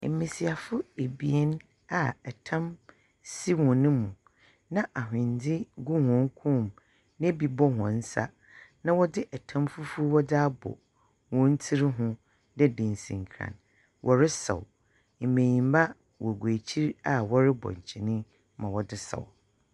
Ɛmmesiafo ebien a ɛtam si wɔn mu na, ahwendze gu wɔn kɔnmu, na bi bɔ wɔn nsa, na wɔdze ɛtam fufuw wɔdze abɔ wɔn tsir ho tsedɛ dansinkran. Wɔresaw mmanyinma na wɔrebɔ kyene yi ma wɔdze saw.